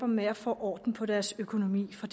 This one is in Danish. med at få orden på deres økonomi for